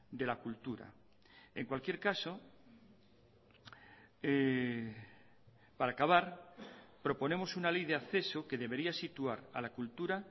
de la cultura en cualquier caso para acabar proponemos una ley de acceso que debería situar a la cultura